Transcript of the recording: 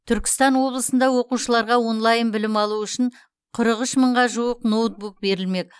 түркістан облысында оқушыларға онлайн білім алу үшін қырық үш мыңға жуық ноутбук берілмек